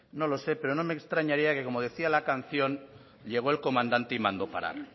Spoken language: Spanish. no lo sé pero no me extrañaría que como decía la canción llegó el comandante y mandó parar